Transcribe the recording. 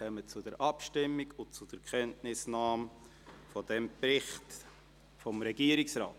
Wir kommen zur Abstimmung und zur Kenntnisnahme dieses Berichts des Regierungsrates.